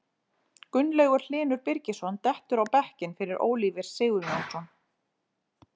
Gunnlaugur Hlynur Birgisson dettur á bekkinn fyrir Oliver Sigurjónsson.